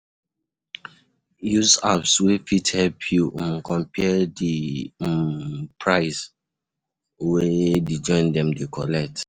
Use apps wey fit help you um compare di um price um wey di joints dem dey collect